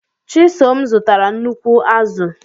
Chisom zụtara nnukwu azụ̀.